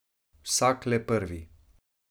Vsak le prvi.